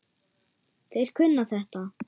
Þeir kunna þetta.